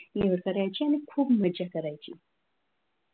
निवड करायचं आणि खूप मज्जा करायची.